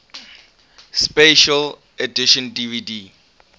special edition dvd